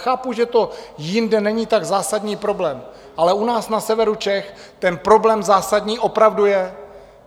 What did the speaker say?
Chápu, že to jinde není tak zásadní problém, ale u nás na severu Čech ten problém zásadní opravdu je.